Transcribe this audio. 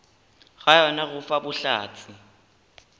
ga yona go fa bohlatse